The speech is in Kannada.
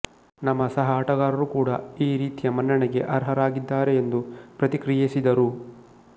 ನಮ್ಮ ಸಹಆಟಗಾರರು ಕೂಡಾ ಈ ರೀತಿಯ ಮನ್ನಣೆಗೆ ಅರ್ಹರಾಗಿದ್ದಾರೆ ಎಂದು ಪ್ರತಿಕ್ರಿಯಿಸಿದರು